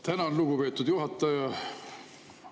Tänan, lugupeetud juhataja!